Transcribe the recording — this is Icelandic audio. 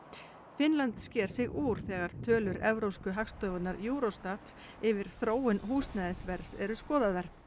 Finnland sker sig úr þegar tölur Evrópsku Hagstofunnar Eurostat yfir þróun húsnæðisverðs eru skoðaðar